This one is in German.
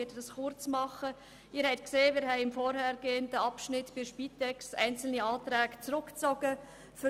Sie haben festgestellt, dass wir beim vorher behandelten Themenblock Spitex einzelne Planungserklärungen zurückgezogen haben.